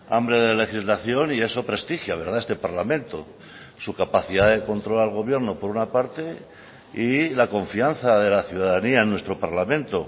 hambre de legislación y eso prestigia este parlamento su capacidad de control al gobierno por una parte y la confianza de la ciudadanía en nuestro parlamento